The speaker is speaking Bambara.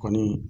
Kɔni